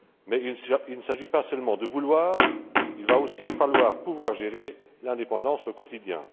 Mais il ne s'agit pas seulement de vouloir, il va aussi falloir pouvoir gérer l'indépendance au quotidien.